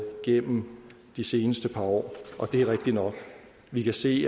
gennem de seneste par år og det er rigtigt nok vi kan se